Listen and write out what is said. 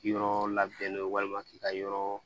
Yɔrɔ labɛnnen walima k'i ka yɔrɔ